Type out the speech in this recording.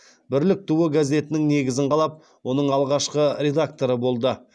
бірлік туы газетінің негізін қалап оның алғашқы редакторы болды